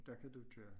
Der kan du køre